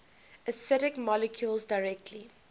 acidic molecules directly